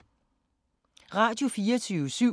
Radio24syv